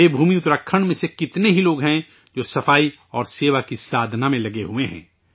دیوبھومی اتراکھنڈ میں سے کتنے ہی لوگ ہیں جو سوچتھا اور سیوا کی سادھنا میں لگے ہوئے ہیں